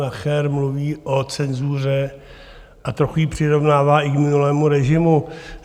Nacher mluví o cenzuře a trochu ji přirovnává i k minulému režimu.